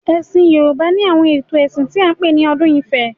Ẹ̀sìn Yorùbá ni àwọn ètò ẹ̀sìn tí a ń pè ní odù ifá.